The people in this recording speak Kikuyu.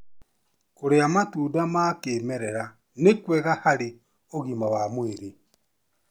Kũrĩa matunda ma kĩmera ni kwega harĩ ũgima wa mwĩrĩ